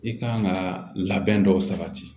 I kan ka labɛn dɔw sabati